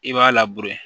I b'a